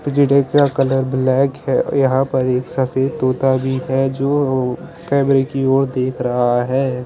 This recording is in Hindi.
पिजड़े का कलर ब्लैक है और यहा पर एक सफेद तोता भी है जोअ केमरे की ओर देख रहा है।